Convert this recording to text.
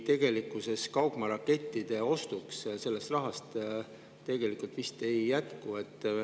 Tegelikkuses kaugmaarakettide ostuks sellest rahast vist ei jätku.